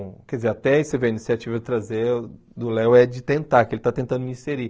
Quer dizer, até ai você vê a iniciativa eu trazer do Léo é de tentar, que ele está tentando me inserir.